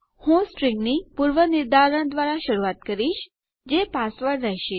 હું સ્ટ્રીંગની પૂર્વનિર્ધારણ દ્વારા શરૂઆત કરીશ જે પાસવર્ડ રહેશે